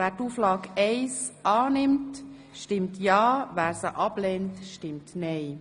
Wer Auflage 1 annehmen will, stimmt ja, wer sie ablehnt, stimmt nein.